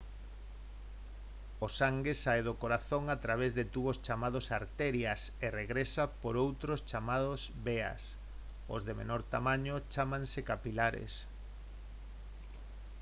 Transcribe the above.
o sangue sae do corazón a través de tubos chamados arterias e regresa por outros chamados veas os de menor tamaño chámanse capilares